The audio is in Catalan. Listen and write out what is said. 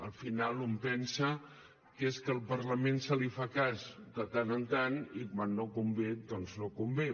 al final un pensa que és que al parlament se li fa cas de tant en tant i quan no convé doncs no convé